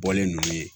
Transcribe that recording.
Bɔlen ninnu ye